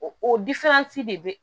O o de be